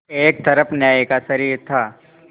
एक तरफ न्याय का शरीर था